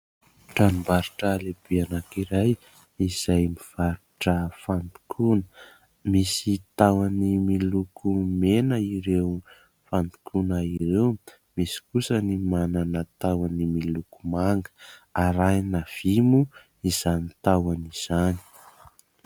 tranombarotra lehibe anankiray izay mivarotra fandokoana; misy tahony miloko mena ireo fandokoana ireo; misy kosa ny manana tahony miloko manga ,arahina vy moa izany tahony izany